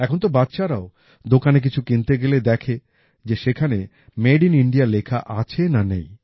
এখন তো বাচ্চারাও দোকানে কিছু কিনতে গেলে দেখে যে সেখানে মেড ইন ইন্ডিয়া লেখা আছে না নেই